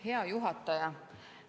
Hea juhataja!